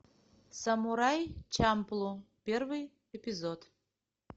самурай чамплу первый эпизод